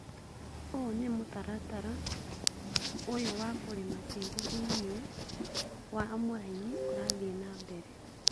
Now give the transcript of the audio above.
ũũ nĩ mũtaratara ũyũ wa kũrĩma tĩri thĩinĩ wa mũraini ũrathiĩ na mbere